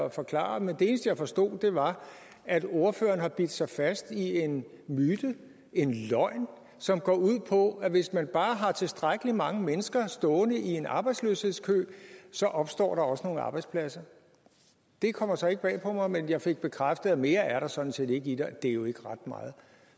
at forklare men det eneste jeg forstod var at ordføreren har bidt sig fast i en myte en løgn som går ud på at hvis man bare har tilstrækkelig mange mennesker stående i en arbejdsløshedskø opstår der også nogle arbejdspladser det kommer så ikke bag på mig men jeg fik bekræftet at mere er der sådan set ikke i det og det er jo ikke ret meget